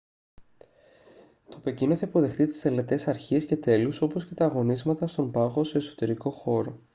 το πεκίνο θα υποδεχθεί τις τελετές αρχής και τέλους όπως και τα αγωνίσματα στον πάγο σε εσωτερικό χώρο